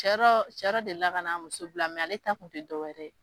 Cɛ dɔ deli la kan'a muso bila ; mɛ ale ta kun bi dɔw wɛrɛ.